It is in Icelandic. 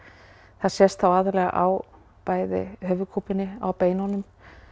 það sést þá aðallega á bæði höfuðkúpunni á beinunum